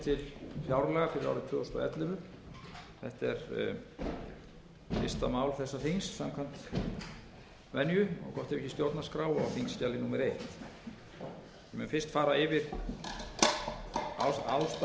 er fyrsta mál þessa þings samkvæmt venju og gott ef ekki stjórnarskrá á þingskjali númer fyrstu ég mun fyrst fara yfir ástæður þess vanda sem